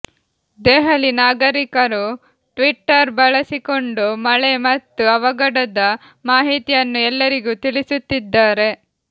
ದೆಹಲಿ ನಾಗರಿಕರು ಟ್ವಿಟ್ಟರ್ ಬಳಸಿಕೊಂಡು ಮಳೆ ಮತ್ತು ಅವಘಡದ ಮಾಹಿತಿಯನ್ನು ಎಲ್ಲರಿಗೂ ತಿಳಿಸುತ್ತಿದ್ದಾರೆ